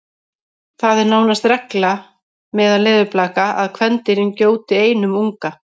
það er nánast regla meðal leðurblaka að kvendýrin gjóti einum unga